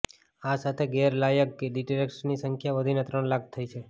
આ સાથે ગેરલાયક ડિરેક્ટર્સની સંખ્યા વધીને ત્રણ લાખ થઇ છે